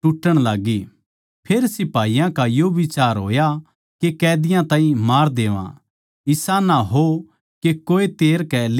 फेर सिपाहियाँ का यो बिचार होया के कैदीयां ताहीं मार देवैं इसा ना हो के कोए तैर कै लिकड़ भाज्जै